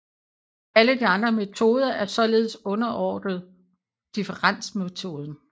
Alle de andre metoder er således underordnet differensmetoden